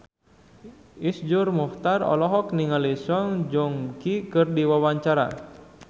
Iszur Muchtar olohok ningali Song Joong Ki keur diwawancara